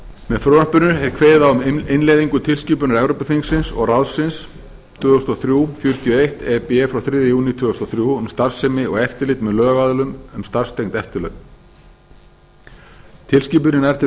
með frumvarpinu er kveðið á um innleiðingu á tilskipun evrópuþingsins og ráðsins tvö þúsund og þrjú fjörutíu og eitt e b frá þriðja júní tvö þúsund og þrjú um starfsemi og eftirlit með lögaðilum um starfstengd eftirlaun tilskipunin nær til